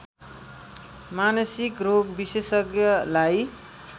मानसिक रोग विशेषज्ञलाई